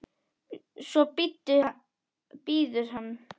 Svo bíður hann.